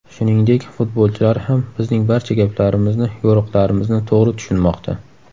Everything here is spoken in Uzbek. Shuningdek, futbolchilar ham bizning barcha gaplarimizni, yo‘riqlarimizni to‘g‘ri tushunmoqda.